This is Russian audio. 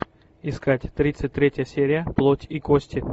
искать тридцать третья серия плоть и кости